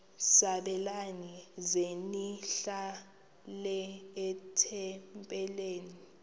sabelani zenihlal etempileni